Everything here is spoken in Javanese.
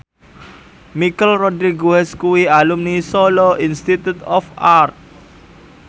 Michelle Rodriguez kuwi alumni Solo Institute of Art